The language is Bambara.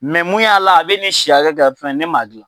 Mɛ mun y'a la a bɛ ni si hakɛ kɛ, fɛn, ne m'a dilan .